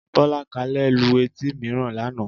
Bọ́lákalẹ́ lu etí mìíràn lánàá